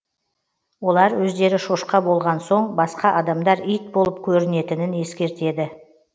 олар өздері шошқа болған соң басқа адамдар ит болып көрінетінін ескертеді